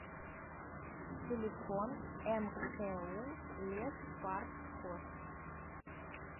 телефон мку леспаркхоз